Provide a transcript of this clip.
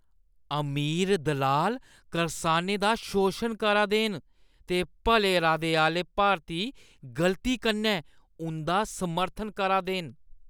अमीर दलाल करसाने दा शोशन करा दे न ते भले इरादे आह्‌ले भारती गलती कन्नै उंʼदा समर्थन करा दे न।